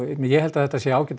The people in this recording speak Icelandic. ég held að þetta sé ágætt